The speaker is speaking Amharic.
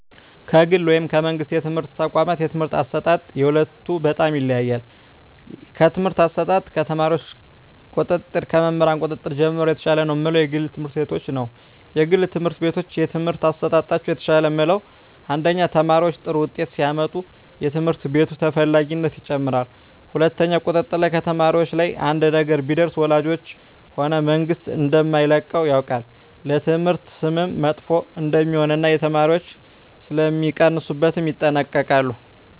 ከግል ወይም ከመንግሥት የትምህርት ተቋዋማት የትምህርት አሰጣጥ የሁለቱ በጣም ይለያያል ከትምህርት አሰጣጥ ከተማሪዎች ቁጥጥር ከመምህር ቁጥጥር ጀምሮ የተሻለ ነው ምለው የግል ትምህርት ቤቶችን ነዉ የግል ትምህርት ቤቶች የትምህርት አሠጣጣቸው የተሻለ ምለው አንደኛ ተማሪዎች ጥሩ ውጤት ሲያመጡ የትምህርት ቤቱ ተፈላጊነት ይጨምራል ሁለትኛው ቁጥጥር ላይ ከተማሪዎች ላይ አንድ ነገር ቢደርስ ወላጆች ሆነ መንግስት እደማይለቀው ያውቃል ለትምህርት ስምም መጥፎ እደሜሆን እና የተማሪዎች ሥለሚቀንሡበት ይጠነቀቃሉ